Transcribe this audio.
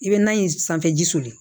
I bɛ na in sanfɛ ji soli